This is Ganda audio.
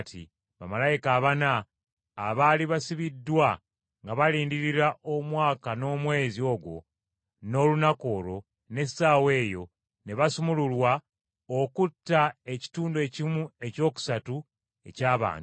Bamalayika abana abaali basibiddwa nga balindirira omwaka n’omwezi ogwo, n’olunaku olwo, n’essaawa eyo, ne basumululwa okutta ekitundu ekimu ekyokusatu eky’abantu.